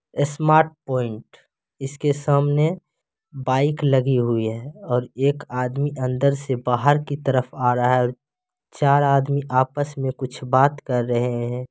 Smart point इसके सामने bike लगी हुई है और एक आदमी अंदर से बाहर की तरफ आ रहा है चार आदमी आपस में कुछ बात कर रहे हैं।